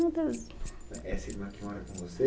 Essa irmã que mora com você?